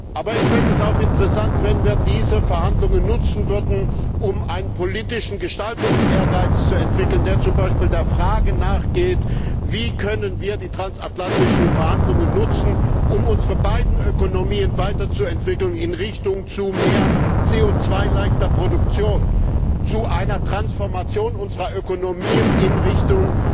Aber ich fände es auch interessant, wenn wir diese Verhandlungen nutzen würden, um einen politischen Gestaltungsehrgeiz zu entwickeln, der zum Beispiel der Frage nachgeht Wie können wir die transatlantischen Verhandlungen nutzen, um unsere beiden Ökonomien weiterzuentwickeln in Richtung zu mehr CO 2 leichter Produktion, zu einer Transformation unserer Ökonomien in Richtung